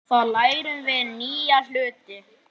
Þar lærum við nýja hluti.